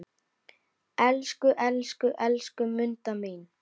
Elsku, elsku, elsku Munda mín.